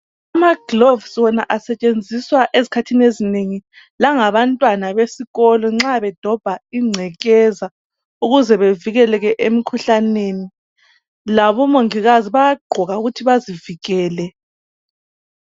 Amagloves wona asetshenziswa ezikhathini ezinengi langabantwana besikolo nxa bedobha ingcekeza ukuze bevikeleke emikhuhlaneni. Labo mongikazi bayaqoka ukuthi bazivikele.